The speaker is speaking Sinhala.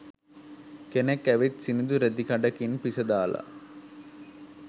කෙනෙක් ඇවිත් සිනිදු රෙදි කඩකින් පිසදාලා